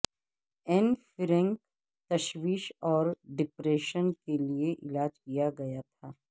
N Frank تشویش اور depression کے لئے علاج کیا گیا تھا